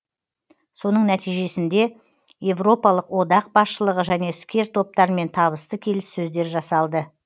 соның нәтижесінде европалық одақ басшылығы және іскер топтармен табысты келіссөздер жасалды